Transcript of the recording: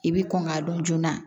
I bi kɔn k'a dɔn joona